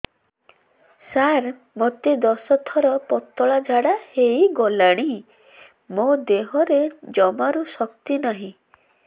ସାର ମୋତେ ଦଶ ଥର ପତଳା ଝାଡା ହେଇଗଲାଣି ମୋ ଦେହରେ ଜମାରୁ ଶକ୍ତି ନାହିଁ